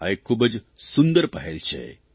આ એક ખૂબ જ સુંદર પહેલ છે